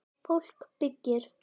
Fólk byggir.